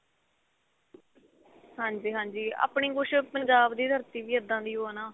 ਹਾਂਜੀ ਹਾਂਜੀ ਆਪਣੀ ਕੁੱਝ ਪੰਜਾਬ ਦੀ ਧਰਤੀ ਵੀ ਇੱਦਾਂ ਦੀ ਓ ਆ ਨਾ